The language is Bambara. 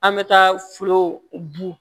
An bɛ taa foro bu